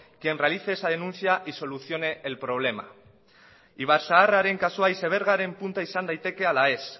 quien realice esa denuncia y solucione el problema ibarzaharraren kasua icebergaren punta izan daiteke ala ez